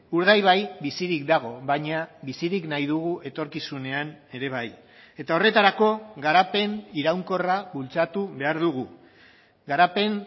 urdaibai bizirik dago baina bizirik nahi dugu etorkizunean ere bai eta horretarako garapen iraunkorra bultzatu behar dugu garapen